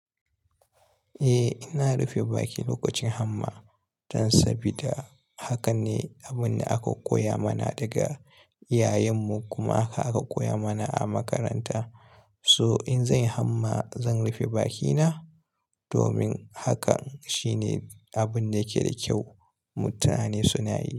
Eh, ina rufe baki lokacin hamma dan sabida haka ne abun da aka koya mana daga iyayen mu kuma haka aka koya mana a makaranta. So in zanyi hamma, zan rufe bakina domin haka shine abun da yake da kyau mutane suna yi.